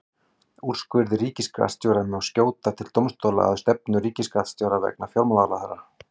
Úrskurði ríkisskattstjóra má skjóta til dómstóla að stefndum ríkisskattstjóra vegna fjármálaráðherra.